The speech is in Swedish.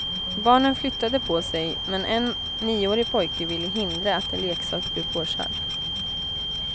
Barnen flyttade på sig, men en nioårig pojke ville hindra att en leksak blev påkörd.